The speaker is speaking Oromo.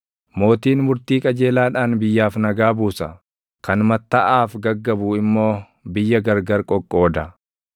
Mootiin murtii qajeelaadhaan biyyaaf nagaa buusa; kan mattaʼaaf gaggabu immoo biyya gargar qoqqooda.